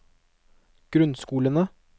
grunnskolene